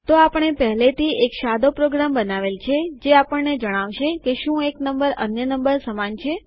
તો આપણે પહેલેથી એક સાદો પ્રોગ્રામ બનાવેલ છે જે આપણને જણાવશે કે શું એક નંબર અન્ય નંબર સમાન છે